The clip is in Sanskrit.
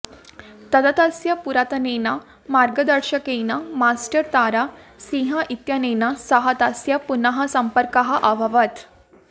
तदा तस्य पुरातनेन मार्गदर्शकेन मास्टर् तारा सिंह इत्यनेन सह तस्य पुनः सम्पर्कः अभवत्